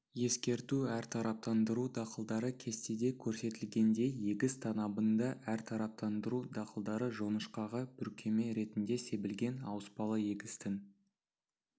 ескерту әртараптандыру дақылдары кестеде көрсетілгендей егіс танабында әртараптандыру дақылдары жоңышқаға бүркеме ретінде себілген ауыспалы егістің